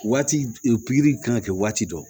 Waati pikiri kan ka kɛ waati dɔ